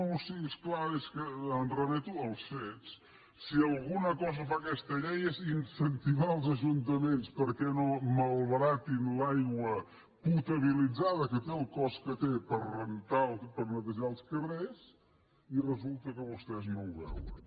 no sí és clar és que em remeto als fets si alguna cosa fa aquesta llei és incentivar els ajuntaments perquè no malbaratin l’aigua potabilitzada que té el cost que té per rentar o per netejar els carrers i resulta que vostès no ho veuen